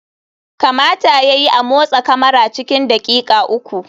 Kamata ya yi a motsa kamara cikin daƙiƙa uku.